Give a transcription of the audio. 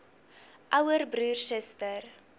ouer broer suster